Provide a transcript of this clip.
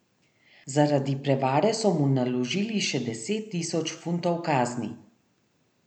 Zaradi prevare so mu naložili še deset tisoč funtov kazni.